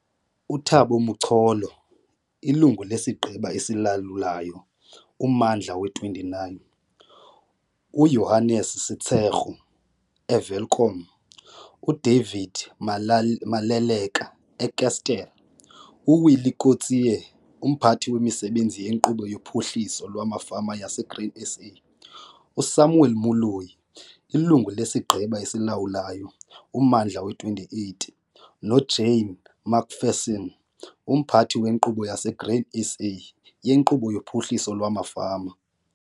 UThabo Macholo, Ilungu lesiGqeba esiLawulayo - Ummandla we-29, uJohannes Setshego, eWelkom, uDavid Maleleka, eKestell, uWillie Kotzé, uMphathi wemiSebenzi yeNkqubo yoPhuhliso lwamaFama yaseGrain SA, uSamuel Moloi, Ilungu lesiGqeba esiLawulayo - Ummandla we-28, noJane McPherson, uMphathi weNkqubo yaseGrain SA yeNkqubo yoPhuhliso lwamaFama.